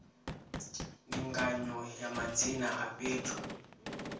ndinganyo ya madzina a fhethu